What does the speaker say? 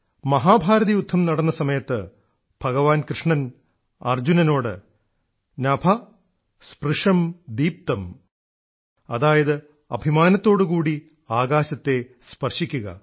മഹാഭാരതയുദ്ധം നടന്ന സമയത്ത് ഭഗവാൻ കൃഷ്ണൻ അർജുനനോട് നഭ സ്പൃഷം ദിപ്തം അതായത് അഭിമാനത്തോടുകൂടി ആകാശത്തെ സ്പർശിക്കുക